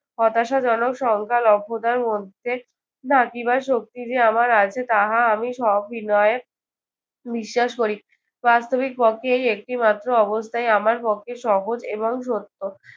হতাশাজনক সংখ্যালভ্যতার মধ্যে নাকি বা শক্তি যে আমার আছে তাহা আমি সবিনয়ে বিশ্বাস করি। বাস্তবিকপক্ষে এর একটিমাত্র অবস্থায়ই আমার পক্ষে সহজ এবং সত্য।